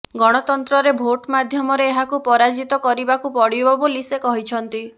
ଗଣତନ୍ତ୍ରରେ ଭୋଟ ମାଧ୍ୟମରେ ଏହାକୁ ପରାଜିତ କରିବାକୁ ପଡ଼ିବ ବୋଲି ସେ କହିଛନ୍ତି